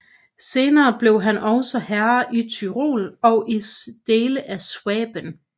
Senere blev han også herre i Tyrol og i dele af Schwaben